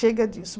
Chega disso.